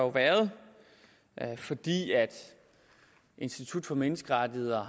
været fordi institut for menneskerettigheder